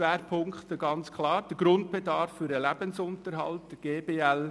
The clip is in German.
Schwerpunkt bildet ganz klar der Grundbedarf für den Lebensunterhalt (GBL).